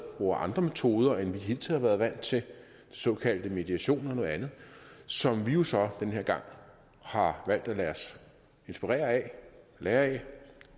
bruger andre metoder end vi hidtil har været vant til de såkaldte mediationer og noget andet som vi jo så den her gang har valgt at lade os inspirere af lære af